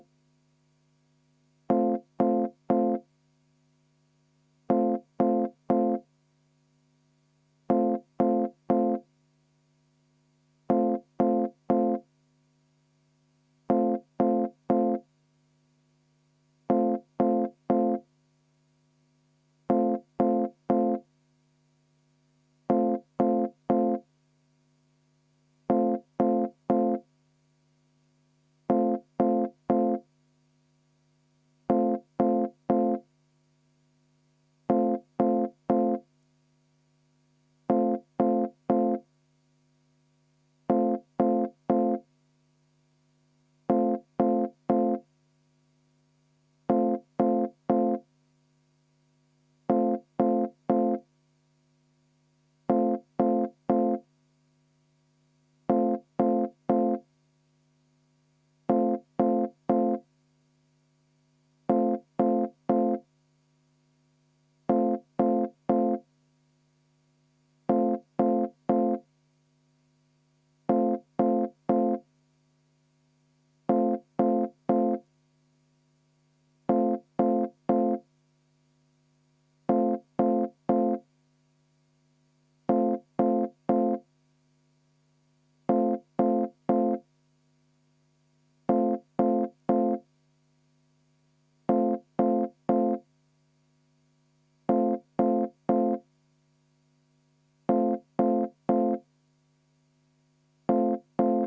V a h e a e g